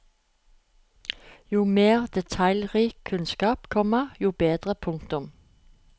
Jo mer detaljrik kunnskap, komma jo bedre. punktum